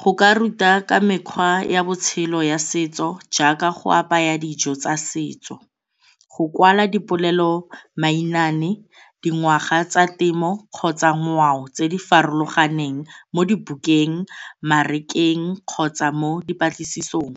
Go ka ruta ka mekgwa ya botshelo ya setso jaaka go apaya dijo tsa setso, go kwala dipolelo mainaane, dingwaga tsa temo kgotsa ngwao tse di farologaneng mo di bukeng, kgotsa mo dipatlisisong.